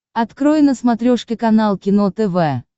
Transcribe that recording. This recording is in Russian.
открой на смотрешке канал кино тв